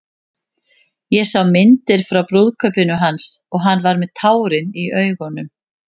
Ég sá myndir frá brúðkaupinu hans og hann var með tárin í augunum.